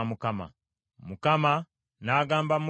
Mukama n’agamba Musa nti,